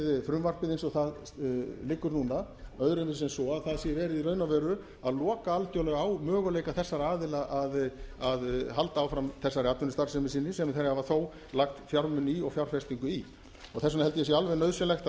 frumvarpið eins og það liggur núna öðruvísi en svo að það sé verið í raun og veru að loka algjörlega á möguleika þessara aðila að halda áfram þessari atvinnustarfsemi sinni sem þeir hafa þó lagt fjármuni í og fjárfestingu í þess vegna held ég að það sé alveg nauðsynlegt að